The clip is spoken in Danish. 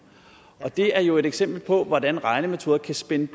det er jo et eksempel på hvordan regnemetoder kan spænde